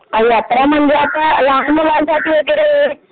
यात्रा म्हणजे आता लहान मुलांसाठी वगैरे